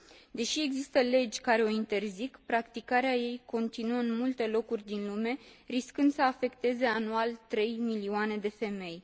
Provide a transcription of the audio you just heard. Deși există legi care o interzic, practicarea ei continuă în multe locuri din lume, riscând să afecteze anual trei milioane de femei.